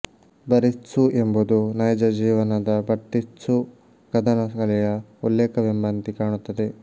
Bartitsu ಎಂಬುದು ನೈಜ ಜೀವನದ ಬರ್ತಿತ್ಸು ಕದನ ಕಲೆಯ ಉಲ್ಲೇಖವೆಂಬಂತೆ ಕಾಣುತ್ತದೆ